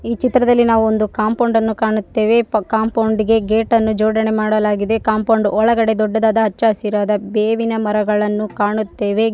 ಈ ಚಿತ್ರದಲ್ಲಿ ನಾವು ಒಂದು ಕಾಪೌಂಡ ನ್ನು ಕಾಣುತ್ತೇವೆ ಕಾಪೌಂಡಿ ಗೆ ಗೇಟ ನ್ನು ಜೋಡನೆಯನ್ನು ಮಾಡಲಾಗಿದೆ ಕಾಪೌಂಡಿ ನ ಒಳಗಡೆ ದೊಡ್ಡದಾದ ಹಚ್ಚ ಹಸಿರು ಬೇವಿನ ಮರಗಳನ್ನು ಕಾಣುತ್ತೇವೆ.